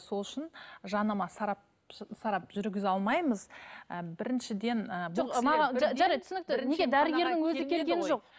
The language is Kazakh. сол үшін жанама сарап жүргізе алмаймыз ыыы біріншіден